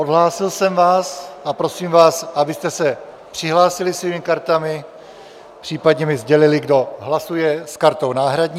Odhlásil jsem vás, a prosím vás, abyste se přihlásili svými kartami, případně mi sdělili, kdo hlasuje s kartou náhradní.